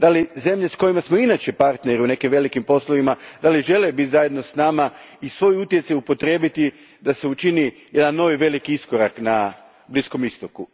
Žele li zemlje s kojima smo inače partneri u nekim velikim poslovima biti zajedno s nama i svoj utjecaj upotrijebiti da se učini jedan novi veliki iskorak na Bliskom istoku?